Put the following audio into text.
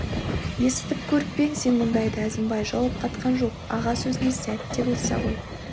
есітіп көріп пе ең сен мұндайды әзімбай жауап қатқан жоқ аға сөзіне сәт те болса ой